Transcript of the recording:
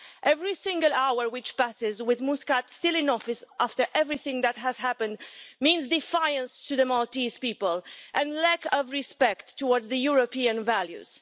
Every single hour which passes with Muscat still in office, after everything that has happened, means defiance to the Maltese people and lack of respect towards the European values.